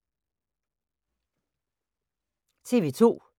TV 2